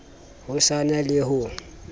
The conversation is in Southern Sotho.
ho sa na le ho